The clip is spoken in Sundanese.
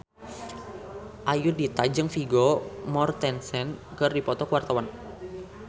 Ayudhita jeung Vigo Mortensen keur dipoto ku wartawan